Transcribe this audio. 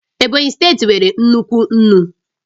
Ebonyi steeti nwere nnukwu nnu